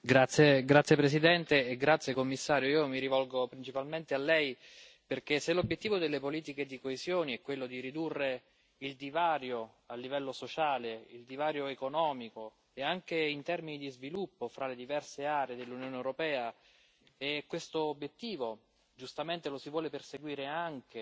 Signora Presidente, onorevoli colleghi, signor Commissario, io mi rivolgo principalmente a lei perché, se l'obiettivo delle politiche di coesione è quello di ridurre il divario a livello sociale, il divario economico e anche in termini di sviluppo fra le diverse aree dell'Unione europea, e questo obiettivo giustamente lo si vuole perseguire anche